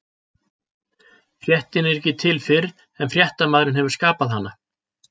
Fréttin er ekki til fyrr en fréttamaðurinn hefur skapað hana.